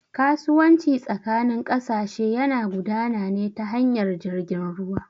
Kasuwanci tsakanin ƙasashe yana gudana ne ta hanyar jirgin ruwa